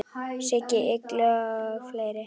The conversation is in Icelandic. Siggi Illuga og fleiri.